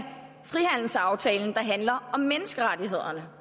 frihandelsaftalen der handler om menneskerettighederne